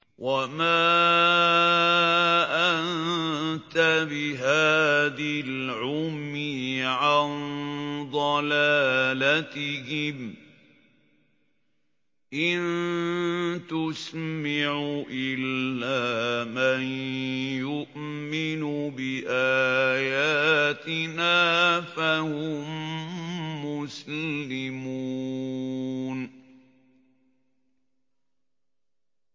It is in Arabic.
وَمَا أَنتَ بِهَادِي الْعُمْيِ عَن ضَلَالَتِهِمْ ۖ إِن تُسْمِعُ إِلَّا مَن يُؤْمِنُ بِآيَاتِنَا فَهُم مُّسْلِمُونَ